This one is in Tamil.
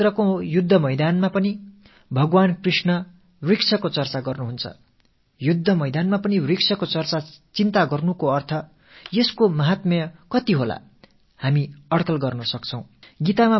குருக்ஷேத்திர யுத்தத்தில் கூட பகவான் ஸ்ரீ க்ருஷ்ணர் மரங்கள் பற்றித் தெரிவிக்கிறார் யுத்தபூமியிலே மரங்கள் பற்றிய விவாதமும் அவை தொடர்பான கவலையும் கொள்வது என்பது அவற்றின் மகத்துவம் பற்றி நமக்கு கோடிட்டுக் காட்டுகிறது